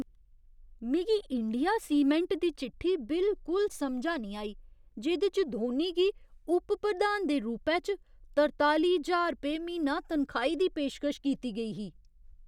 मिगी India cement दी चिट्ठी बिल्कुल समझा निं आई जेह्‌दे च धोनी गी उप प्रधान दे रूपै च तरताली ज्हार रपेऽ म्हीना तन्खाही दी पेशकश कीती गेई ही।